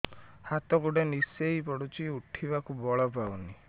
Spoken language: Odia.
ହାତ ଗୋଡ ନିସେଇ ପଡୁଛି ଉଠିବାକୁ ବଳ ପାଉନି